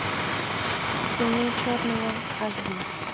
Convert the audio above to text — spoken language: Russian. темнее черного аш ди